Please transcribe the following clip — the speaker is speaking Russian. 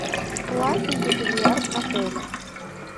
платный ли бильярд в отеле